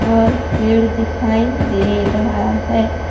और पेड़ दिखाई दे रहा है।